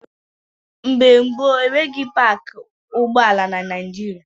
Mgbe gboo, enweghị paakị ụgbọala na Naịjịrịa.